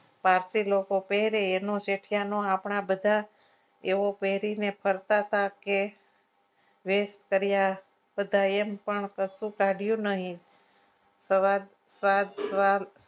પારસી લોકો પહેરે એમનું તે આપણા બધા એવો પહેરીને ફરતા હતા કે વિશ કર્યા બધા એમ પણ કશું કાઢ્યું નહીં સવાર સવાર